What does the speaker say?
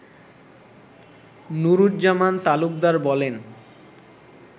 নুরুজ্জামান তালুকদার বলেন